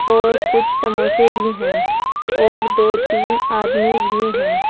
और कुछ समोसे भी हैं और दो तीन आदमी भी हैं।